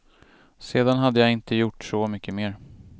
Sedan hade jag inte gjort så mycket mer.